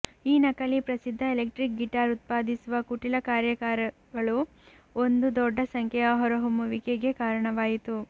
ಈ ನಕಲಿ ಪ್ರಸಿದ್ಧ ಎಲೆಕ್ಟ್ರಿಕ್ ಗಿಟಾರ್ ಉತ್ಪಾದಿಸುವ ಕುಟಿಲ ಕಾರ್ಯಾಗಾರಗಳು ಒಂದು ದೊಡ್ಡ ಸಂಖ್ಯೆಯ ಹೊರಹೊಮ್ಮುವಿಕೆಗೆ ಕಾರಣವಾಯಿತು